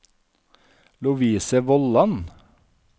Lovise Vollan